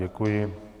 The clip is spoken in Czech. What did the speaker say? Děkuji.